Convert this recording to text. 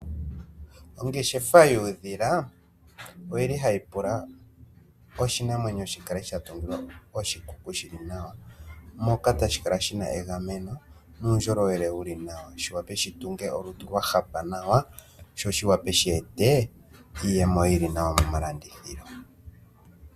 Ongeshefa yuudhila oyili hayi pula oshinamwenyo shikale sha tungilwa oshikuku shili nawa moka tashi kala shina egameno nuundjolowele wuli nawa shiwape shi tunge olutu lwahapa nawa sho shi wape she ete iiyemo yili nawa moma landithilo.